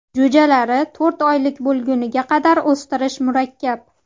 Jo‘jalari to‘rt oylik bo‘lguniga qadar o‘stirish murakkab.